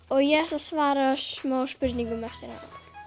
og ég ætla að svara smá spurningum um hana